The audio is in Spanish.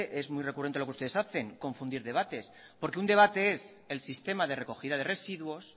es muy recurrente lo que ustedes hacen confundir debates porque un debate es el sistema de recogida de residuos